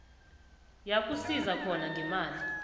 yakusiza khona ngemali